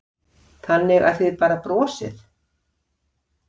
Magnús Hlynur: Þannig að þið bara brosið?